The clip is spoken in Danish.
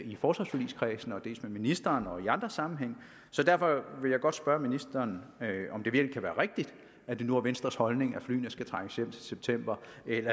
i forsvarsforligskredsen dels med ministeren og i andre sammenhænge så derfor vil jeg godt spørge ministeren om det virkelig kan være rigtigt at det nu er venstres holdning at flyene skal trækkes hjem til september